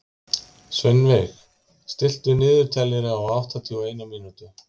Sveinveig, stilltu niðurteljara á áttatíu og eina mínútur.